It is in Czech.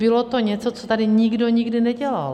Bylo to něco, co tady nikdy nikdo nedělal.